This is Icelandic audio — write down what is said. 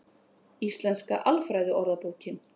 Íslenska alfræðiorðabókin.